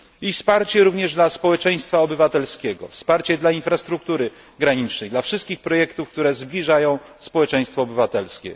I wsparcie również dla społeczeństwa obywatelskiego, wsparcie dla infrastruktury granicznej, dla wszystkich projektów, które zbliżają społeczeństwo obywatelskie.